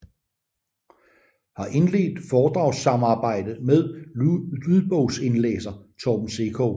Har indledt foredragssamarbejde med lydbogsindlæser Torben Sekov